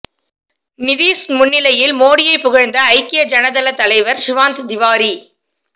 நிதீஷ் முன்னிலையில் மோடியை புகழ்ந்த ஐக்கிய ஜனதள தலைவர் சிவானந்த் திவாரி